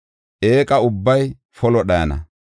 Eeqa ubbay polo dhayana.